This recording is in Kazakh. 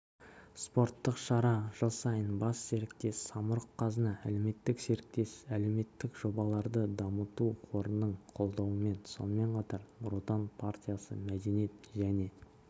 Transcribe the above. спорттық шара жыл сайын бас серіктес самұрық-қазына әлеуметтік серіктес әлеуметтік жобаларды дамыту қорының қолдауымен сонымен қатар нұр отан партиясы мәдениет және